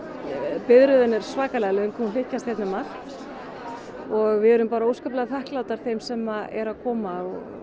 biðröðin er svakalega löng hún hlykkjast hérna um allt og við erum bara óskaplega þakklátar þeim sem eru að koma